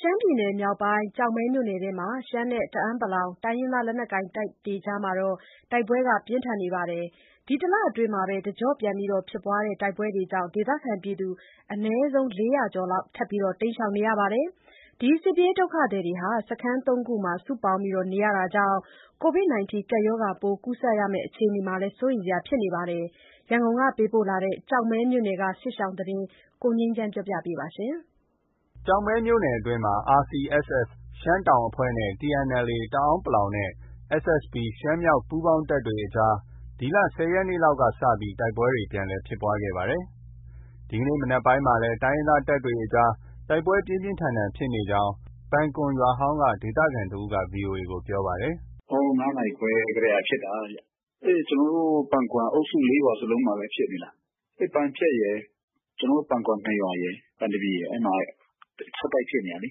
ရှမ်းပြည်နယ်မြောက်ပိုင်း ကျောက်မဲမြို့နယ်အတွင်းမှာ ရှမ်းနဲ့ တအန်း(ပလောင်) တိုင်းရင်းသားလက်နက်ကိုင်တပ်တွေအကြား တိုက်ပွဲပြင်းထန်နေပြီး ဒီလအတွင်း တစ်ကျော့ပြန် ဖြစ်ပွားတဲ့ တိုက်ပွဲတွေကြောင့် ဒေသခံ အနည်းဆုံး ၄၀၀ကျော်လောက် ထပ်မံတိမ်းရှောင်နေရပါတယ်။ စစ်ပြေးဒုက္ခသည်တွေဟာ စခန်း ၃ခုမှာ စုပေါင်းနေထိုင်ရတာကြောင့် Covid 19 ပိုးကူးစက်မယ့်အခြေအနေကိုလည်း စိုးရိမ်နေရပါတယ်။ ရန်ကုန်ကလာတဲ့ ကျောက်မဲမြိုနယ်အတွင်းက စစ်ရှောင်သတင်းကို ကိုငြိမ်းချမ်းပြောပြပေးပါမယ်။ ကျောက်မဲမြို့နယ်အတွင်းမှာ RCSS ရှမ်းတောင်တပ်ဖွဲ့နဲ့ TNLA တအန်းပလောင်နဲ့ SSPP ရှမ်းမြောက် ပူးပေါင်းတပ်အကြားမှာ ဒီလ ၁၀ရက်နေ့လောက် စတင်ပြီး တိုက်ပွဲတွေ ပြန်လည် ဖြစ်ပွားခဲ့တာပါ။ ဒီကနေ့ မနက်ပိုင်းမှာလည်း တိုင်းရင်းသားတပ်တွေအကြား တိုက်ပွဲပြင်းပြင်းထန်ထန်ဖြစ်နေကြောင်း ပန်ကွမ်ရွာဟောင်းက ဒေသခံတစ်ဦးက VOA ကို ပြောပါတယ်။ “ ဟိုး ၅နာရီခွဲကတည်းက ဖြစ်တာဗျ။ ကျနော်တို့ ပန်ကွမ်အုပ်စု ၄ရွာစလုံးမှာပဲဖြစ်နေတာ။ ပန်ဖြတ်ရယ်၊ ကျနော်တို့ ပန်ကွမ် ၂ရွာရယ်၊ ပန်သပြေရယ်။ အဲဒီမှာ ဆက်တိုက်ဖြစ်နေတာလေ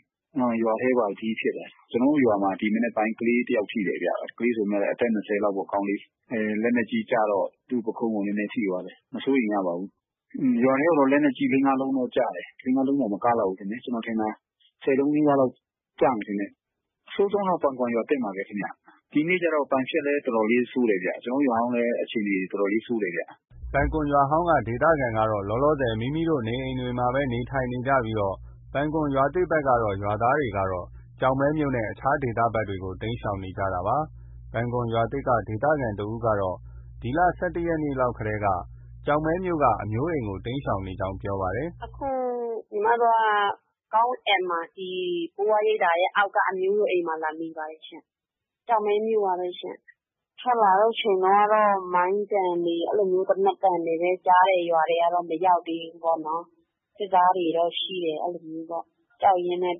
။ ရွာထဲပါထိ ဖြစ်တယ်။ ကျနော်တို့ ရွာမှာ ဒီမနက်ပိုင်းကလေးတစ်ယောက်ထိတယ်ဗျ။ ကလေးဆိုပေမဲ့လည်း အသက်၂၀လောက်ပေါ့။ ကောင်လေး။ လက်နက်ကြီး ကျတော့ သူ့ ပုခုံးကို နည်းနည်းထိသွားတာ။ မစိုးရိမ်ရဘူး။ ရွာထဲကိုတော့ လက်နက်ကြီး ၄- ၅ လုံးကျတယ်။ ၄- ၅လုံးတောင် မကလောက်ဘူး။ ကျနော်ထင်တာ ၁၀လုံးနီးပါးလောက် ကျမယ်ထင်တာ။ အဆိုးဆုံးကတော့ ပန်ကွမ်ရွာသစ်မှာပဲ။ ဒီနေ့ကျတော့ ပန်ဖြတ်မှာလည်း ဆိုးတယ်။ ကျနော်တို့ ရွာဟောင်းလည်း တော်တော်လေး ဆိုးတယ်ဗျ။” ပန်ကွမ်ရွာဟောင်းက ဒေသခံတွေကတော့ လောလောဆည် မိမိတို့ နေအိမ်တွေမှာပဲ နေထိုင်နေကြပြီး ပန်ကွမ်ရွာသစ်ဘက်က ရွာသားတွေကတော့ ကျောက်မဲမြို့နဲ့ အခြားဒေသဘက်ကို တိမ်းရှောင်နေကြတာပါ။ ပန်ကွမ်ရွာသစ်က ဒေသခံတစ်ဦးကတော့ ဒီလ ၁၁ရက်နေ့လောက်တည်းက ကျောက်မဲမြို့က အမျိုးအိမ်ကို တိမ်းရှောင်နေကြောင်း ပြောပါတယ်။ “ အခု ညီမတို့က ကောင်းအဲန်မှာ ဒီဘိုးဘွားရိပ်သာရဲ့ အောက်ဘက်က အမျိုးတွေအိမ်မှာ လာနေပါတယ်ရှင့်။ ကျောက်မဲမြို့ မှာပဲရှင်။ ထွက်လာတဲ့အချိန်မှာကတော့ မိုင်းသံတွေ၊ သေနတ်သံတွေပဲကြားတယ်။ ရွာထဲကတော့ မရောက်သေးဘူးပေါ့နော်။ စစ်သားတွေတော့ ရှိတယ်။ အဲလိုမျိုးပေါ့၊ ကြောက်ရင်းနဲ့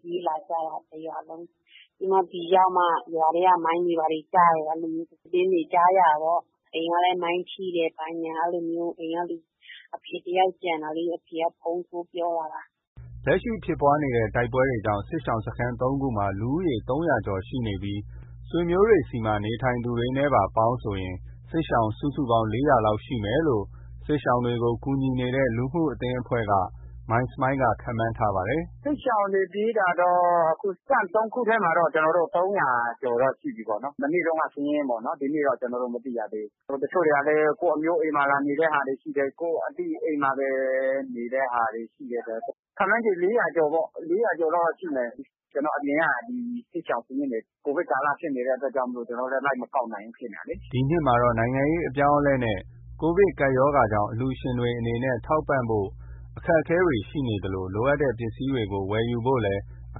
ပြေးလာကြတာ။ တစ်ရွာလုံး။ ဒီရောက်မှ ရွာထဲကို မိုင်းတွေပါတွေကျတယ် အဲလိုမျိုးသတင်းတွေ ကြားရတာပေါ့။ အိမ်ကလည်း မိုင်းထိတယ် ဘာညာ အဲလိုမျိုး။ အိမ်က အဖေတစ်ယောက်ကျန်တာလေ။ အဖေက ဖုန်းထိုးပြောလာတာ။ ” စစ်ရှောင်တွေကို ကူညီနေတဲ့ လူမှုအသင်းအဖွဲ့က မိုင်းစမိုင်းလ်က လက်ရှိ ဖြစ်ပွားတဲ့ တိုက်ပွဲကြောင့် စစ်ရှောင်စခန်း ၃ခုမှာ လူဦးရေ ၃၀၀ကျော်ရှိပြီး ဆွေမျိုးတွေဆီမှာ နေထိုင်သူတွေနဲ့ပါဆို စစ်ရှောင် စုစုပေါင်း ၄၀၀လောက်ရှိမယ်လို့ ခန့်မှန်းထားပါတယ်။ “ စစ်ရှောင်တွေ ပြေးတာတော့ Camp ၃ခုထဲမှာတော့ ၃၀၀ကျော်တော့ ရှိပြီပေါ့နော်။ မနေ့တုံးက စာရင်းပေါ့နော်။ ဒီနေ့ ကျနော်တို့ မသိရသေးဘူး။ တချို့တွေကလည်း ကိုယ့်အမျိုးအိမ်မှာ လာနေတဲ့ဟာတွေ ရှိတယ်။ ကိုယ့်အသိအိမ်မှာတွေ နေတဲ့ဟာတွေ ရှိတယ်ဆိုတော့ ခန့်မှန်းခြေ ၄၀၀ကျော်ပေါ့။ ၄၀၀ကျော်လောက် တော့ ရှိမယ်။ ကျနော် အပြင်က စစ်ရှောင်စာရင်းတွေ ကိုဗစ်ကာလဖြစ်နေတဲ့ အတွက်ကြောင့် လိုက်မကောက် နိုင်ဘူး ဖြစ်နေတာလေ။ ” ဒီနှစ်မှာတော့ နိုင်ငံရေးအပြောင်းအလဲနဲ့ကိုဗစ်ကပ်ရောဂါကြောင့် အလှုရှင်တွေအနေနဲ့ ထောက်ပံ့ဖို့ အခက်အခဲရှိနေသလို လိုအပ်တဲ့ပစ္စည်းတွေ ဝယ်ယူဖို့လည်း အ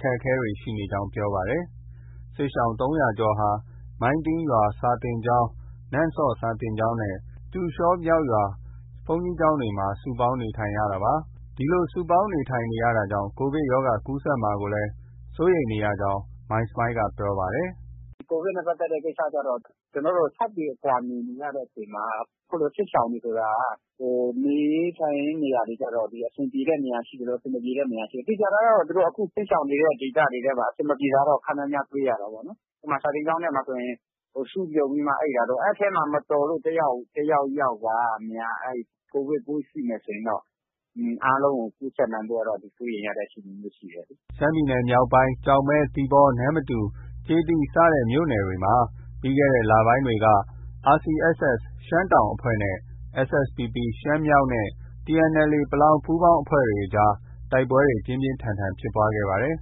ခက်အခဲရှိနေကြောင်း ပြောပါတယ်။ စစ်ရှောင် ၃၀၀ကျော်ဟာ မိုင်းတင်းရွာစာသင်ကျောင်း၊ နမ့်ဆော့စာသင်ကျောင်းနဲ့ ကြူရှော(မြောက်)ရွာ ဘုန်းကြီးကျောင်းတွေမှာ စုပေါင်းနေထိုင်နေကြရတာပါ။ ဒီလို စုပေါင်းနေထိုင်နေရတာကြောင့် ကိုဗစ်ရောဂါ ကူးစက်မှာကိုလည်း စိုးရိမ်ရတဲ့ အခြေအနေမှာ ရှိနေကြောင်း မိုင်းစမိုင်းလ်က ဆက်ပြောပါတယ်။ “ ကိုဗစ်နဲ့ ပတ်သက်တဲ့ ကိစ္စကျတော့ ကျနော်တို့ ၆ပေအကွာ နေ နေရတဲ့အချိန်မှာ အခုလို စစ်ရှောင်တွေ ဆိုတာက နေရေး ထိုင်ရေးနေရာတွေဆိုတာက အဆင်ပြေတဲ့နေရာ ရှိသလို အဆင်မပြေတဲ့နေရာရှိတယ်။ သေချာတာကတော့ အခု စစ်ရှောင်နေတဲ့ဒေသတွေထဲမှာ အဆင်မပြေတာတော့ ခပ်များများ တွေ့ရတာပေါ့နော်။ စာသင်ကျောင်းထဲမှာဆိုရင် စုပြုံပြီးမှ အိပ်တာတို့။ အဲဒီထဲမှာ မတော်လို့ တစ်ယောက်ယောက်ကများ ကိုဗစ်ပိုးရှိမယ်ဆိုရင်တော့ အားလုံးကို ကူးစက်နိုင်ဖို့ကတော့ စိုးရိမ်ရတဲ့အခြေအနေမျိုးရှိတယ်။” ရှမ်းပြည်နယ်မြောက်ပိုင်း ကျောက်မဲ၊ သီပေါ၊ နမ္မတူ၊ ကျေးသီးစတဲ့မြို့နယ်တွေမှာ ပြီးခဲ့တဲ့ လပိုင်းတွေက RCSS ရှမ်းတောင်ပိုင်းအဖွဲ့နဲ့ SSPP ရှမ်းမြောက်ပိုင်းနဲ့ TNLA တအန်း(ပလောင်) ပူးပေါင်းအဖွဲ့တွေအကြား တိုက်ပွဲတွေ ပြင်းပြင်းထန်ထန်ဖြစ်ပွားခဲ့ပါတယ်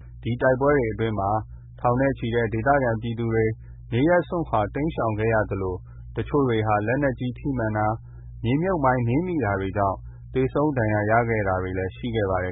။ ဒီတိုက်ပွဲတွေအတွင်းမှာ ထောင်နဲ့ ချီတဲ့ ဒေသခံပြည်သူတွေ နေရပ်စွန့်ခွာတိမ်းရှောင်ခဲ့ရသလို တချို့တွေဟာ လက်နက်ကြီး ထိမှန်တာ၊ မိုင်းနင်းမိတာကြောင့် သေဆုံး ဒဏ်ရာရတာတွေလည်း ရှိခဲ့ပါတယ်